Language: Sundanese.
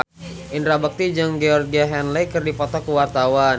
Indra Bekti jeung Georgie Henley keur dipoto ku wartawan